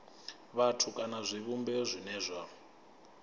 vhathu kana zwivhumbeo zwine zwa